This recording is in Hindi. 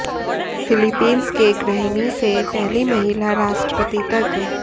फिलीपींस के गृहिणी से पहली महिला राष्ट्रपति तक